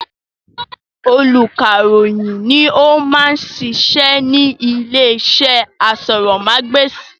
Olùkàròyìn ni ó ma ń sisẹ́ ní ilé iṣẹ́ asọ̀rọ̀mágbèsì